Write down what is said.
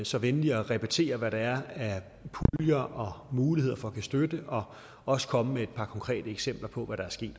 så venlig at repetere hvad der er af puljer og muligheder for at give støtte og også komme med et par konkrete eksempler på hvad der er sket